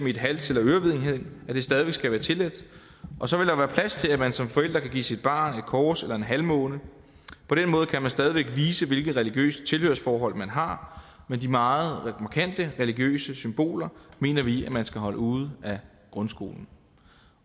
i et hals eller ørevedhæng stadig væk skal være tilladt og så vil der være plads til at man som forældre kan give sit barn et kors eller en halvmåne på den måde kan man stadig væk vise hvilket religiøst tilhørsforhold man har men de meget markante religiøse symboler mener vi at man skal holde ude af grundskolen